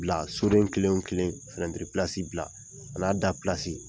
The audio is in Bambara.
Bila soden kelen o kelen finɛtiri pilasi bila an'a da pilasi.